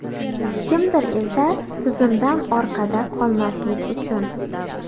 Kimdir esa tizimdan orqada qolmaslik uchun.